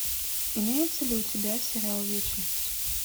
имеется ли у тебя сериал вечность